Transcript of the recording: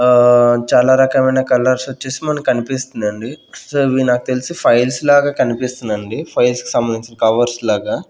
ఆ చాలా రకమైన కలర్స్ వచ్చేసి మనకనిపిస్తుందండి సో ఇది నాకు తెలిసి ఫైల్స్ లాగా కనిపిస్తుంది అండి ఫైల్స్ కి సంబంధించిన కవర్స్ లాగా.